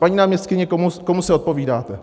Paní náměstkyně, komu se odpovídáte?